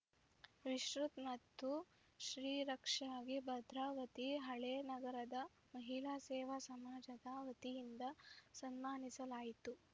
ವಿಶೃತ್‌ ಮತ್ತು ಶ್ರೀರಕ್ಷಾಗೆ ಭದ್ರಾವತಿ ಹಳೇನಗರದ ಮಹಿಳಾ ಸೇವಾ ಸಮಾಜದ ವತಿಯಿಂದ ಸನ್ಮಾನಿಸಲಾಯಿತು